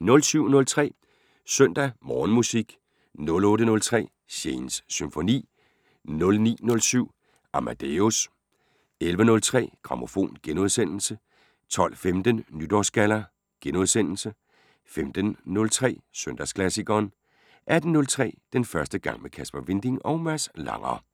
07:03: Søndag Morgenmusik 08:03: Shanes Symfoni 09:07: Amadeus 11:03: Grammofon * 12:15: Nytårsgalla * 15:03: Søndagsklassikeren 18:03: Den første gang med Kasper Winding og Mads Langer